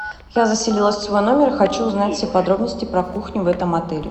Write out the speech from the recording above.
я заселилась в свой номер и хочу узнать все подробности про кухню в этом отеле